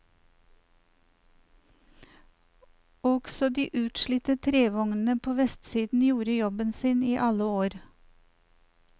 Også de utslitte trevognene på vestsiden gjorde jobben sin i alle år.